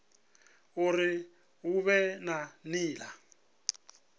uri hu vhe na nila